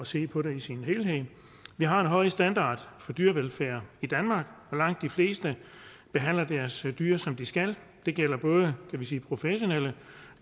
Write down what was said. se på det som helhed vi har en høj standard for dyrevelfærd i danmark og langt de fleste behandler deres dyr som de skal det gælder både professionelle